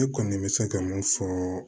Ne kɔni bɛ se ka mun fɔ